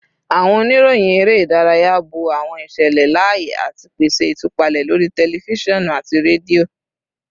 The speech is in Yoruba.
Awọn oniroyin ere idaraya bo awọn iṣẹlẹ laaye ati pese itupalẹ lori tẹlifisiọnu ati redio